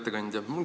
Hea ettekandja!